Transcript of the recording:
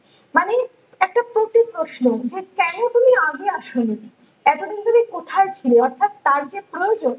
এই প্রশ্ন যে কোনো তুমি আগে আসোনি এতদিন তুমি কোথায় ছিলে অর্থাৎ তার যে প্রয়োজন